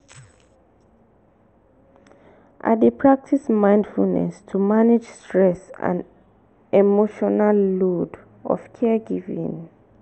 i dey practice mindfulness to manage stress and emotional load of caregiving.